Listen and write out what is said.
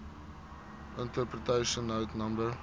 interpretation note no